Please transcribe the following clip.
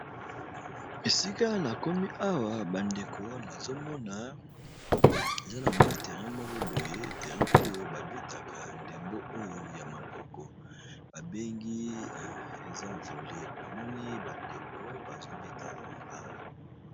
esika na komi awa bandeko nazomona eza na mwa terrein moko boye terrein oyo babetaka ndembo oyo ya maboko babengi eza vole na moni bandeko bazobeta yango awa